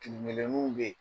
Tinkelenu beyi